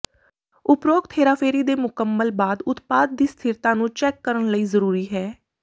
ਉਪਰੋਕਤ ਹੇਰਾਫੇਰੀ ਦੇ ਮੁਕੰਮਲ ਬਾਅਦ ਉਤਪਾਦ ਦੀ ਸਥਿਰਤਾ ਨੂੰ ਚੈੱਕ ਕਰਨ ਲਈ ਜ਼ਰੂਰੀ ਹੈ